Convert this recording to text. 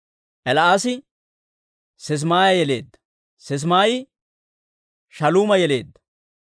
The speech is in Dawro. El"aasi Sisimaaya yeleedda; Sisimaayi Shaaluuma yeleedda;